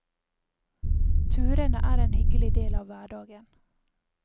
Turene er en hyggelig del av hverdagen.